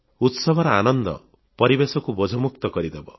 ଉତ୍ସବର ଆନନ୍ଦ ପରିବେଶକୁ ବୋଝମୁକ୍ତ କରିଦେବ